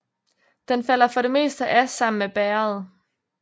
Den falder for det meste af sammen med bægeret